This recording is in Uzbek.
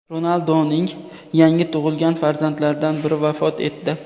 Ronalduning yangi tug‘ilgan farzandlaridan biri vafot etdi.